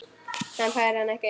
Hann fær hana ekki.